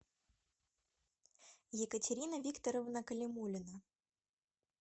екатерина викторовна калимулина